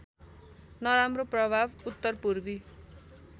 नराम्रो प्रभाव उत्तरपूर्वी